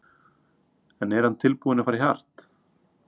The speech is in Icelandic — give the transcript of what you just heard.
En er hann tilbúinn að fara í hart?